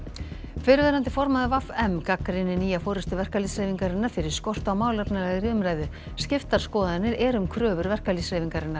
fyrrverandi formaður v m gagnrýnir nýja forystu verkalýðshreyfingarinnar fyrir skort á málefnalegri umræðu skiptar skoðanir eru um kröfur verkalýðshreyfingarinnar